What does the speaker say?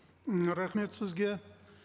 м рахмет сізге